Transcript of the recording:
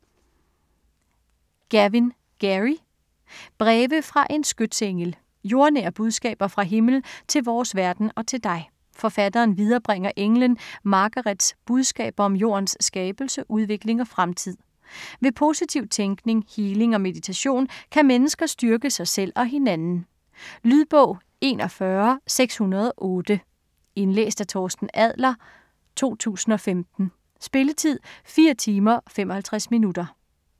Gavin, Gerry: Breve fra en skytsengel Jordnære budskaber fra himlen til vores verden og til dig. Forfatteren viderebringer englen Margarets budskaber om jordens skabelse, udvikling og fremtid. Ved positiv tænkning, healing og meditation kan mennesker styrke sig selv og hinanden. Lydbog 41608 Indlæst af Torsten Adler, 2015. Spilletid: 4 timer, 55 minutter.